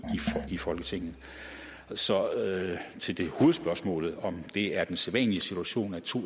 i folketinget så til hovedspørgsmålet om det er den sædvanlige situation at to